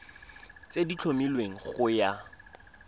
tse di tlhomilweng go ya